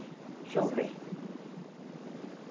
Deixa eu ver.